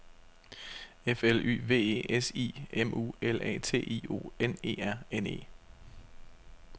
F L Y V E S I M U L A T I O N E R N E